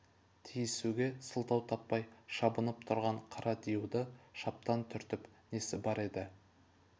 тисуге сылтау таппай шабынып тұрған қара диюды шаптан түртіп несі бар еді